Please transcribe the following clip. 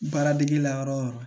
Baara dege la yɔrɔ yɔrɔ